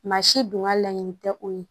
Maa si dun ka laɲini tɛ o ye